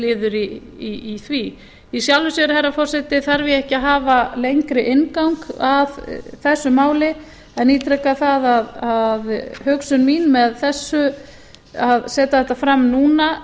liður í því í sjálfu sér herra forseti þarf ég ekki að hafa lengri inngang að þessu máli en ítreka það að hugsun mín með þessu að setja þetta fram núna